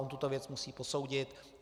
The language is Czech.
On tuto věc musí posoudit.